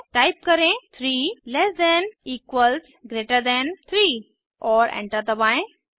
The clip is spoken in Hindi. टाइप करें 3 less than equals greater than 3 और एंटर दबाएं